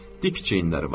Dik çiyinləri var.